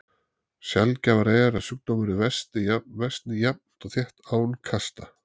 Sjaldgæfara er að sjúkdómurinn versni jafnt og þétt án kasta.